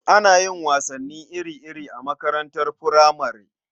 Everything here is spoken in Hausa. Ana yin wasanni iri-iri a makaranatar furamare.